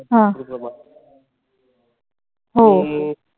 हो.